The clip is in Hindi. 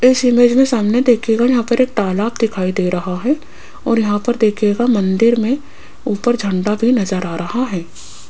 इस इमेज में सामने देखिएगा यहां पर एक तालाब दिखाई दे रहा है और यहां पर देखिएगा मंदिर में ऊपर झंडा भी नजर आ रहा है।